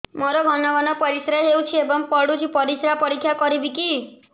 ମୋର ଘନ ଘନ ପରିସ୍ରା ହେଉଛି ଏବଂ ପଡ଼ୁଛି ପରିସ୍ରା ପରୀକ୍ଷା କରିବିକି